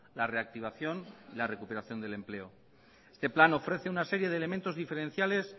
la reactivación y la recuperación del empleo este plan ofrece una serie de elementos diferenciales